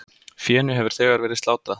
Fénu hefur þegar verið slátrað.